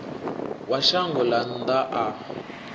wa shango ḽa nnḓa a